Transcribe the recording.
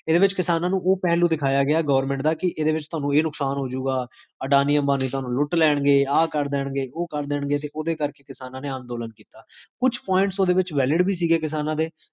ਸ੍ਦ੍ਫ਼